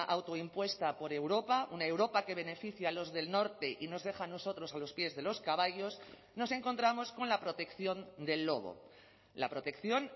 autoimpuesta por europa una europa que beneficia los del norte y nos deja a nosotros a los pies de los caballos nos encontramos con la protección del lobo la protección